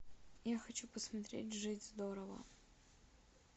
я хочу посмотреть жить здорово